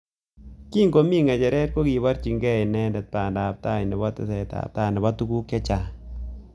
Kingomi ngecheret kokiborye inendet banda ab tai nebo tesetabtai nebo tukuk chechang.